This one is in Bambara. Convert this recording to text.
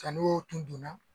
Ka n'o tun donna